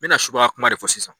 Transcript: N bɛna subagayakuma de fɔ sisan.